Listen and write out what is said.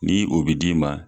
Ni o bɛ d'i ma